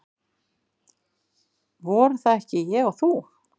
Voru það ekki ég og þú?